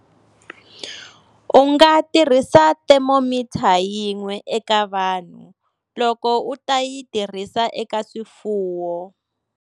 U nga tirhisi thermometer yin'we eka vanhu loko u ta yi tirhisa eka swifuwo.